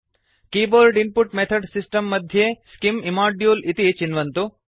keyboard input method system मध्ये scim इम्मोदुले इति चिन्वन्तु